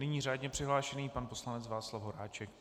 Nyní řádně přihlášený pan poslanec Václav Horáček.